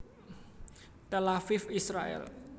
Tel Aviv Israèl